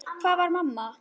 Hvar var mamma?